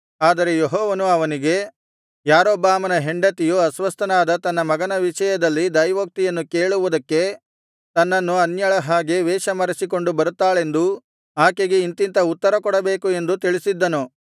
ಆದರೆ ಯೆಹೋವನು ಅವನಿಗೆ ಯಾರೊಬ್ಬಾಮನ ಹೆಂಡತಿಯು ಅಸ್ವಸ್ಥನಾದ ತನ್ನ ಮಗನ ವಿಷಯದಲ್ಲಿ ದೈವೋಕ್ತಿಯನ್ನು ಕೇಳುವುದಕ್ಕೆ ತನ್ನನ್ನು ಅನ್ಯಳ ಹಾಗೆ ವೇಷಮರೆಸಿಕೊಂಡು ಬರುತ್ತಾಳೆಂದೂ ಆಕೆಗೆ ಇಂಥಿಂಥ ಉತ್ತರ ಕೊಡಬೇಕು ಎಂದು ತಿಳಿಸಿದ್ದನು